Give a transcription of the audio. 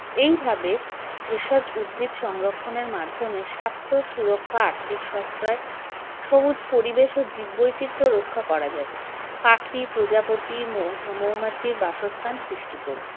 এইভাবে ভেষজ উদ্ভিদ সংরক্ষণের মাধ্যমে স্বাস্থ্য সুরক্ষা আর্থিক সশ্রয় সবুজ পরিবেশ ও জীববৈচিত্র্য রক্ষা করা যাবে পাখি প্রজাপতি মৌ মৌমাছির বাসস্থান সৃষ্টি করে